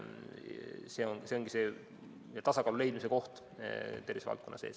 See ongi see tasakaalu leidmise koht tervishoiuvaldkonna sees.